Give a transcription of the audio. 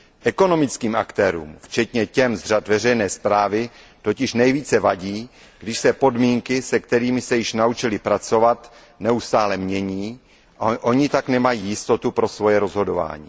Ekonomickým aktérům, včetně těch z řad veřejné správy, totiž nejvíce vadí, když se podmínky, se kterými se již naučili pracovat, neustále mění a oni tak nemají jistotu pro svoje rozhodování.